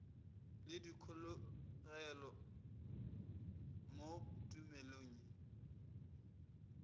le dikholego mo tumelong ye